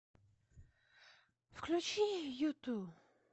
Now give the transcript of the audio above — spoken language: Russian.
включи юту